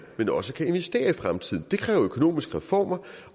men også kan investere i fremtiden det kræver økonomiske reformer